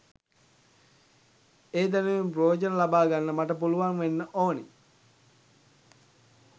ඒ දැනුමින් ප්‍රයෝජන ලබාගන්න මට පුළුවන් වෙන්න ඕන